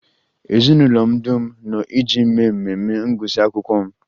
Ezinụlọ m dum nọ iji mee mmemme ngụsị akwụkwọ m